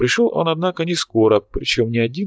пришёл он однако не скоро причём не один